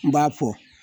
N b'a fɔ